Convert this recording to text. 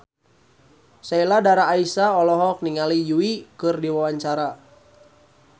Sheila Dara Aisha olohok ningali Yui keur diwawancara